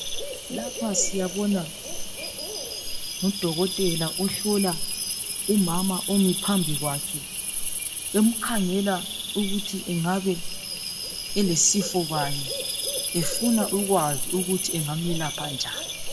Lapha siyabona ngudokotela ohlola umama umi phambi kwakhe emkhangela ukuthi engabe elesifo bani, efuna ukwazi ukuthi engamelapha njani.